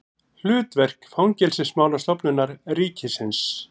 Hlutverk Fangelsismálastofnunar ríkisins.